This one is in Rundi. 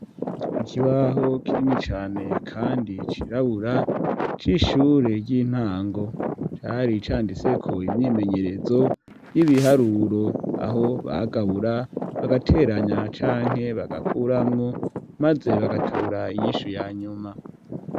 Ikibaho kinini cane kandi cirabura c'ishure ry'intango cari candiseko imyimenyerezo y'ibiharuro aho bagabura bagateranya canke bagakuramwu maze bagatora inyishu ya nyuma.